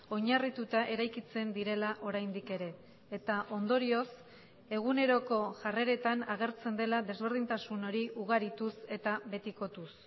oinarrituta eraikitzen direla oraindik ere eta ondorioz eguneroko jarreretan agertzen dela desberdintasun hori ugarituz eta betikotuz